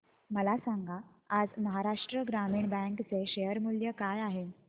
मला सांगा आज महाराष्ट्र ग्रामीण बँक चे शेअर मूल्य काय आहे